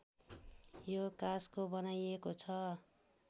यो काँसको बनाइएको छ